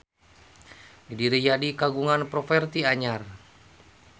Didi Riyadi kagungan properti anyar